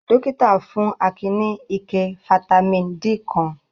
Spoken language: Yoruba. Dọ́kítá fún Akin ní ike fataímìn D kan.